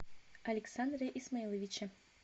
александре исмаиловиче